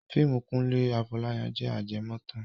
Fíìmù Kúnlé Afọ́láyan jẹ ajẹmọ́tàn